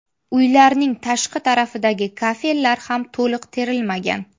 Uylarning tashqi tarafidagi kafellar ham to‘liq terilmagan.